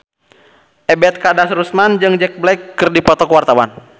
Ebet Kadarusman jeung Jack Black keur dipoto ku wartawan